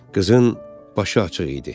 Qızın başı açıq idi.